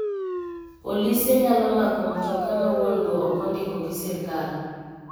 Polise nyalo mako mtoa ma wuongo ok ondiko gi sirkal.